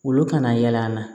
Olu kana yɛlɛ an na